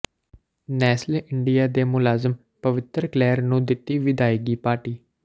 Nestle India ਦੇ ਮੁਲਾਜ਼ਮ ਪਵਿੱਤਰ ਕਲੇਰ ਨੂੰ ਦਿੱਤੀ ਵਿਦਾਇਗੀ ਪਾਰਟੀ